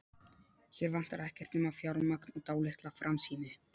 Hér vantar ekkert nema fjármagn og dálitla framsýni.